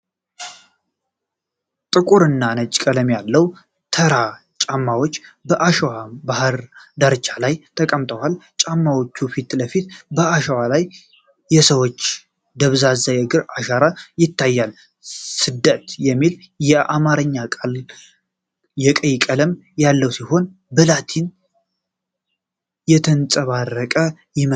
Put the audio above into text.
ጥቁርና ነጭ ቀለም ያላቸው ተራ ጫማዎች በአሸዋማ የባህር ዳርቻ ላይ ተቀምጠዋል። ከጫማዎቹ ፊት ለፊት በአሸዋ ላይ የሰዎች ደብዛዛ የእግር አሻራዎች ይታያሉ። “ስደት” የሚለው የአማርኛ ቃል ቀይ ቀለም ያለው ሲሆን፣ በላቲን የተንጸባረቀ ይመስላል።